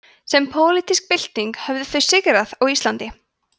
sem pólitísk bylting höfðu þau sigrað á íslandi